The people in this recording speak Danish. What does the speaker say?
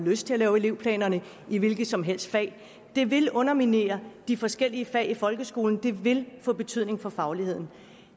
lyst til at lave elevplanerne i hvilket som helst fag det vil underminere de forskellige fag i folkeskolen det vil få betydning for fagligheden